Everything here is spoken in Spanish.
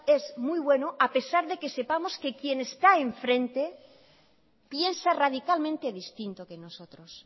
es muy bueno a pesar de que sepamos que quien está enfrente piensa radicalmente distinto que nosotros